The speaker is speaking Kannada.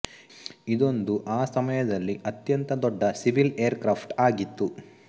ಇದೊಂದು ಆ ಸಮಯದಲ್ಲಿ ಅತ್ಯಂತ ದೊಡ್ಡ ಸಿವಿಲ್ ಏರ್ ಕ್ರಾಫ್ಟ್ ಆಗಿತ್ತು